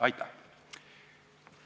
Aitäh!